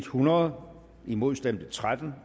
hundrede imod stemte tretten